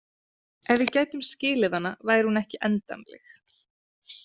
Ef við gætum skilið hana væri hún ekki endanleg“.